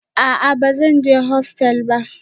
A'a ba zan je hostel ba